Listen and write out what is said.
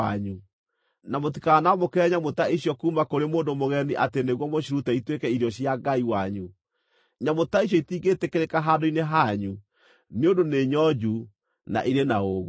na mũtikanamũkĩre nyamũ ta icio kuuma kũrĩ mũndũ mũgeni atĩ nĩguo mũcirute ituĩke irio cia Ngai wanyu. Nyamũ ta icio itingĩtĩkĩrĩka handũ-inĩ hanyu, nĩ ũndũ nĩ nyonju, na irĩ na ũũgũ.’ ”